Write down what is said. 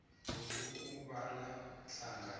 lokhu kubala hlangana